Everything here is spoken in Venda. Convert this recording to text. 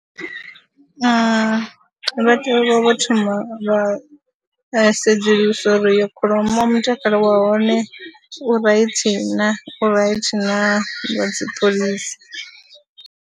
Ee, vha tea u vha vho thoma vha sedzulusa uri iyo kholomo mutakalo wa hone u right na, u right na dzi ṱolisa.